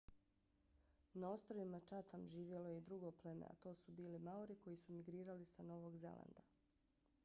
na ostrvima chatham živjelo je i drugo pleme a to su bili maori koji su migrirali s novog zelanda